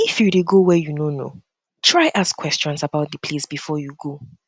if you de go where you no know try ask questions about di place before you go